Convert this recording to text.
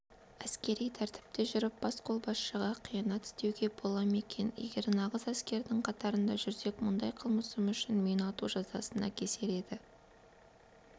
әскери тәртіпте жүріп басқолбасшыға қиянат істеуге бола ма екен егер нағыз әскердің қатарында жүрсек мұндай қылмысым үшін мені ату жазасына кесер еді